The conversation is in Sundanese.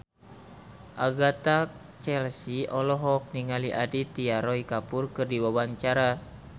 Agatha Chelsea olohok ningali Aditya Roy Kapoor keur diwawancara